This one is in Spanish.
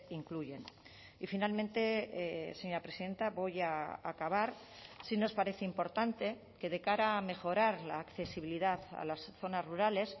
incluyen y finalmente señora presidenta voy a acabar sí nos parece importante que de cara a mejorar la accesibilidad a las zonas rurales